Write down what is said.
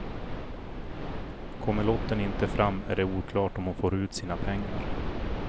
Kommer lotten inte fram är det oklart om hon får ut sina pengar.